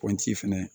Pɔnti fɛnɛ